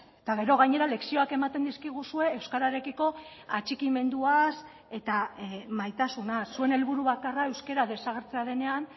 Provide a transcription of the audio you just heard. eta gero gainera lezioak ematen dizkiguzue euskararekiko atxikimenduaz eta maitasuna zuen helburu bakarra euskara desagertzea denean